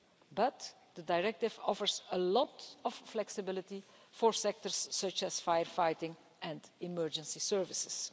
But the Working Time Directive offers a lot of flexibility for sectors such as firefighting and emergency services.